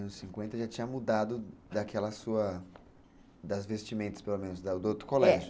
nos anos cinquenta já tinha mudado daquela sua... das vestimentas, pelo menos, do outro colégio, é.